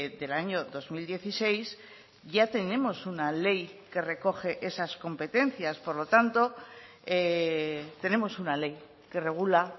del año dos mil dieciséis ya tenemos una ley que recoge esas competencias por lo tanto tenemos una ley que regula